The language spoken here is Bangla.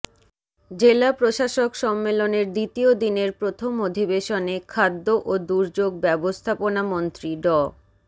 জেলা প্রশাসক সম্মেলনের দ্বিতীয় দিনের প্রথম অধিবেশনে খাদ্য ও দুর্যোগ ব্যবস্থাপনামন্ত্রী ড